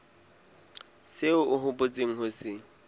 seo o hopotseng ho se